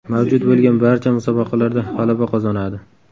Mavjud bo‘lgan barcha musobaqalarda g‘alaba qozonadi.